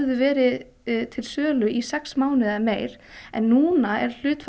verið til sölu í sex mánuði eða meira en núna er hlutfall